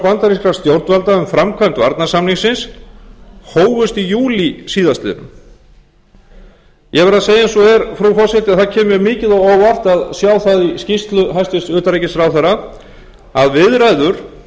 bandarískra stjórnvalda um framkvæmd varnarsamningsins hófust í júlí síðastliðinn ég verð að segja eins og er frú forseti að það kemur mér mikið á óvart að sjá það í skýrslu hæstvirts utanríkisráðherra að viðræður íslenskra